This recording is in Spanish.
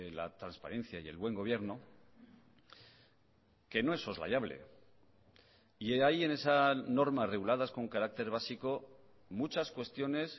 la transparencia y el buen gobierno que no es soslayable y ahí en esa norma reguladas con carácter básico muchas cuestiones